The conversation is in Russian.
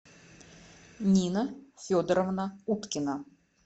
нина федоровна уткина